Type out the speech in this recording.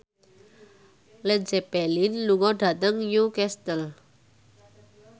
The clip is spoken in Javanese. Led Zeppelin lunga dhateng Newcastle